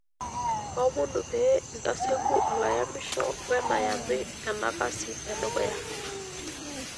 Kaomonu pee untasieku olayamisho wenayamu ena kasi e dukuya.